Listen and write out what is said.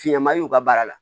Fiɲama y'u ka baara la